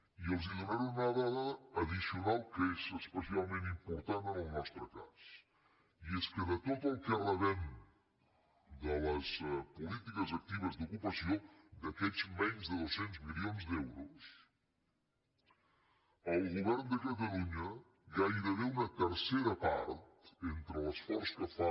i els donaré una dada addicional que és especialment important en el nostre cas i és que de tot el que rebem de les polítiques actives d’ocupació d’aquests menys de dos cents milions d’euros el govern de catalunya gairebé una tercera part entre l’esforç que fa